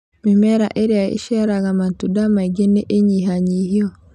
Mĩmera ĩrĩa ĩciaraga matunda maingĩ nĩ ĩnyihanyihio